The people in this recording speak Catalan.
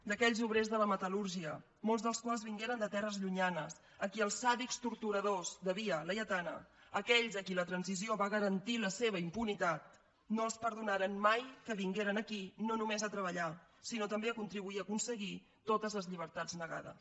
a aquells obrers de la metal·lúrgia molts dels quals vingueren de terres llunyanes a qui els sàdics torturadors de via laietana aquells a qui la transició va garantir la seva impunitat no els perdonaren mai que vinguessin aquí no només a treballar sinó també a contribuir a aconseguir totes les llibertats negades